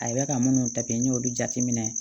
A ye ka munnu ta pi y'olu jateminɛ